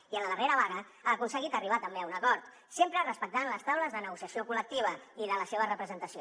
i en la darrera vaga ha aconseguit arribar també a un acord sempre respectant les taules de negociació col·lectiva i de la seva representació